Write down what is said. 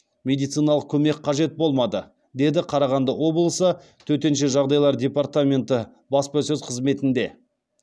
медициналық көмек қажет болмады деді қарағанды облысы төтенше жағдайлар департаменті баспасөз қызметінде